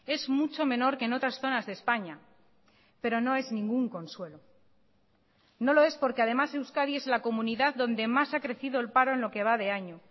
es mucho menor que en otras zonas de españa pero no es ningún consuelo no lo es porque además euskadi es la comunidad donde más ha crecido el paro en lo que va de año